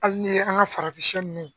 Ali ni ye an ka farafinsiyɛ ninnu.